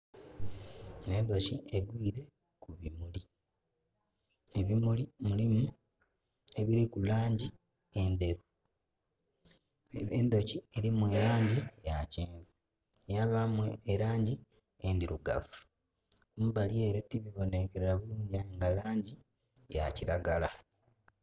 Endhoki egwiire ku bimuli. Ebimuli mulimu ebiliku langi endheru. Endhoki elimu elangi ya kyenvu, yabaamu elangi endhirugavu. Kumbali ele tikubonhenkelera bulingi aye nga langi ya kiragala.